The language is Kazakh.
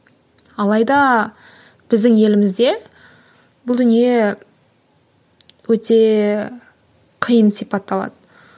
алайда біздің елімізде бұл дүние өте қиын сипатталады